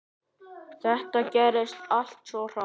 Þetta gerðist allt svo hratt.